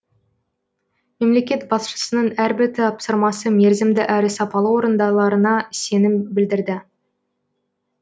мемлекет басшысының әрбір тапсырмасы мерзімді әрі сапалы орындаларына сенім білдірді